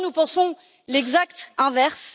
Nous pensons l'exact inverse.